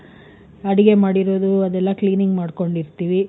ಅಡಿಗೆ ಮಾಡಿರಿದು ಅದೆಲ್ಲ cleaning ಮಾಡ್ಕೊಂಡು ಇರ್ತೀವಿ.